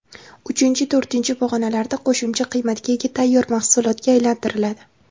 Uchinchi, to‘rtinchi pog‘onalarda qo‘shimcha qiymatga ega tayyor mahsulotga aylantiriladi.